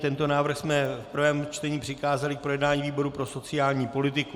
Tento návrh jsme v prvém čtení přikázali k projednání výboru pro sociální politiku.